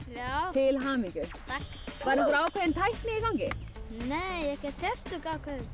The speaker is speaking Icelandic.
til hamingju takk var einhver ákveðin tækni í gangi nei ekkert sérstök